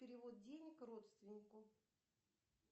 перевод денег родственнику